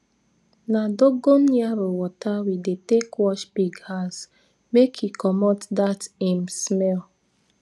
na dogon yaro water we dey take wash pig house make e commot dat im smell